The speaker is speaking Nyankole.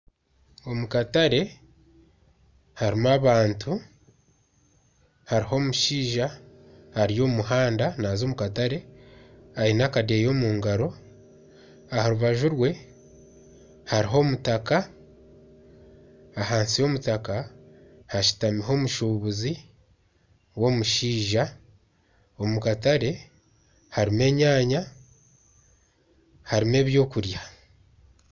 Omu katare harimu abantu. Hariyo omushaija ari omu muhanda naaza omu katare aine akadeeya omu ngaro. Aha rubaju rwe hariho omutaaka, ahansi y'omutaka hashutamiho omushuubuzi w'omushaija. Omu katare harimu enyaaanya harimu ebyokurya.